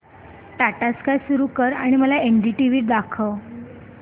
Tata Sky सुरू कर आणि मला एनडीटीव्ही दाखव